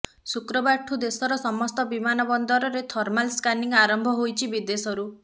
ଶୁକ୍ରବାରଠୁ ଦେଶର ସମସ୍ତ ବିମାନ ବନ୍ଦରରେ ଥର୍ମାଲ ସ୍କାନିଂ ଆରମ୍ଭ ହୋଇଛି ବିଦେଶରୁ